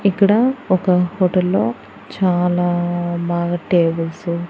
ఇక్కడ ఒక హోటల్లో చాలా బాగా టేబుల్స్ .